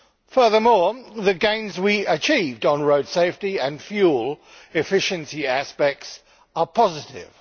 Furthermore, the gains we achieved on road safety and fuel efficiency aspects are positive.